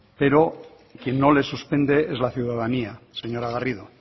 pero quien no le suspende es la ciudadanía señora garrido